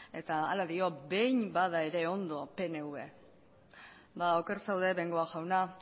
eta hala dio behin bada ere ondo pnv ba oker zaude bengoa jauna